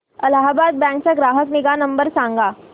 Allahabad bank चा ग्राहक निगा नंबर सांगा